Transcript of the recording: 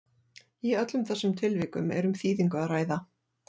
Í öllum þessum tilvikum er um þýðingu að ræða.